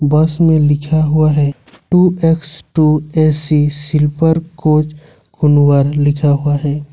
बस में लिखा हुआ है two x two A C silver coach Kunwar लिखा हुआ है।